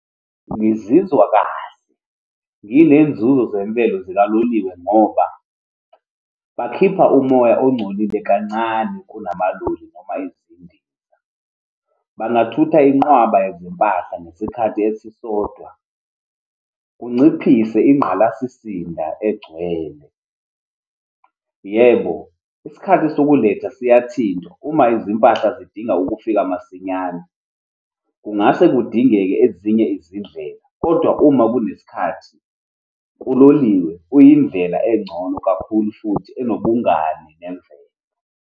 Ngizizwa kahle, yile nzuzo zemvelo zikaloliwe, ngoba bakhipha umoya ongcolile kancane kunamaloli noma izindiza. Bangathutha inqwaba yezimpahla ngesikhathi esisodwa, kunciphise ingqalazisinda egcwele. Yebo, isikhathi sokuletha siyashintsha uma izimpahla zidinga ukufika masinyana. Kungase kudingeke ezinye izindlela, kodwa uma kunesikhathi, uloliwe uyindlela engcono kakhulu futhi enobungani nemvelo.